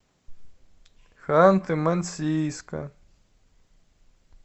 ханты мансийска